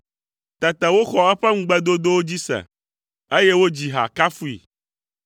Tete woxɔ eƒe ŋugbedodowo dzi se, eye wodzi ha kafui.